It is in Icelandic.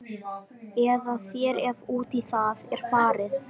Eða þér ef út í það er farið.